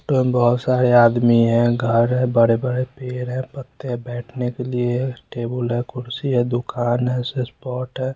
ये बहुत सारे आदमी हैं खा रहे हैं बर्गर बैठने के लिए--